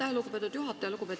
Aitäh, lugupeetud juhataja!